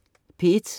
P1: